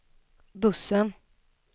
bussen